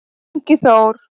Ingi Þór-